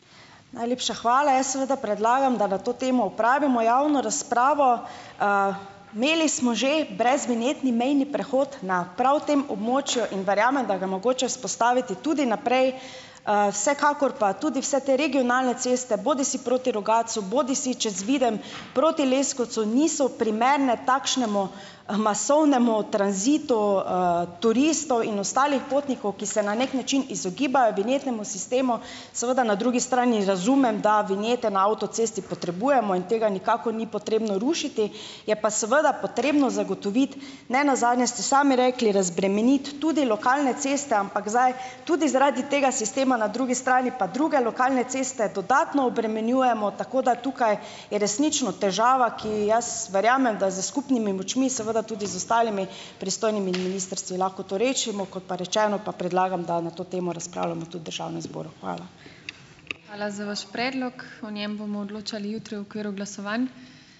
Najlepša hvala. Jaz seveda predlagam, da na to temo opravimo javno razpravo. Imeli smo že brezvinjetni mejni prehod na prav tem območju in verjamem, da ga je mogoče vzpostaviti tudi naprej. Vsekakor pa tudi vse te regionalne ceste - bodisi proti Rogatcu, bodisi čez Videm proti Leskovcu, niso primerne takšnemu, masovnemu tranzitu, turistov in ostalih potnikov, ki se na neki način izogibajo vinjetnemu sistemu. Seveda na drugi strani razumem, da vinjete na avtocesti potrebujemo in tega nikakor ni potrebno rušiti. Je pa seveda potrebno zagotoviti, ne nazadnje ste sami rekli, razbremeniti tudi lokalne ceste, ampak zdaj tudi zaradi tega sistema na drugi strani, pa druge lokalne ceste dodatno obremenjujemo. Tako da tukaj je resnično težava, ki jaz verjamem, da z skupnimi močmi, seveda tudi z ostalimi pristojnimi ministrstvi lahko to rešimo. Kot pa rečeno, pa predlagam, da na to temo razpravljamo tudi v državnem zboru. Hvala.